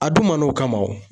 A dun man'o kama o